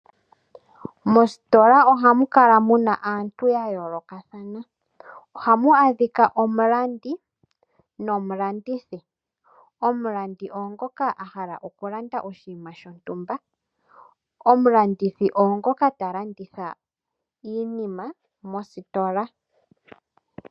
Mositola ohamu kala muna aantu ya yoolokathana, ohamu adhika omulandi nomulandithi. Omulandi oye ngoka a hala okulanda oshinima shontumba. Omulandithi oye ngoka ta landitha iinima mositola.